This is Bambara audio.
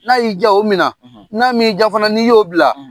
N'a y'i diya o minna; N'a m'i diya fana n'i y'o bila;